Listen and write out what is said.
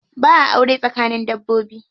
Ba'a aure tsakanin dabbobi.